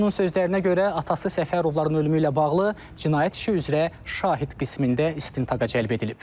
Oğlunun sözlərinə görə, atası Səfərovların ölümü ilə bağlı cinayət işi üzrə şahid qismində istintaqa cəlb edilib.